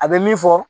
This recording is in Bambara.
A bɛ min fɔ